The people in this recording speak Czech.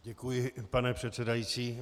Děkuji, pane předsedající.